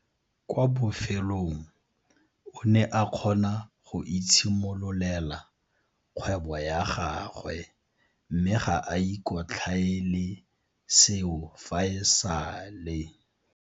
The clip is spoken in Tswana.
Kwa bofelong o ne a kgona go itshimololela kgwebo ya gagwe mme ga a ikotlhaele seo fa e sale.